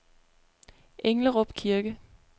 Englerup Kirke